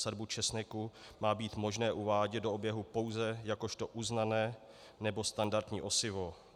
Sadby česneku má být možné uvádět do oběhu pouze jakožto uznané nebo standardní osivo.